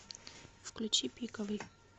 включи пиковый